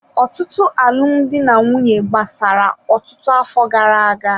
Ọtụtụ alụmdi na nwunye gbasara ọtụtụ afọ gara aga.